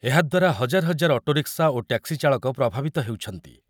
ଏହାଦ୍ୱାରା ହଜାର ହଜାର ଅଟୋରିକ୍ସା ଓ ଟ୍ୟାକ୍ସି ଚାଳକ ପ୍ରଭାବିତ ହେଉଛନ୍ତି।